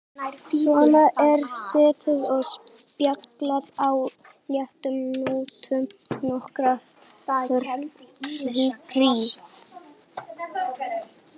Svona er setið og spjallað á léttum nótum nokkra hríð.